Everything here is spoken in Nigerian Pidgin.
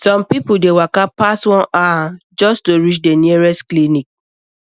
some people dey waka pass one hour um just to reach the nearest clinic